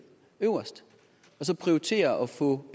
øverst og så prioritere at få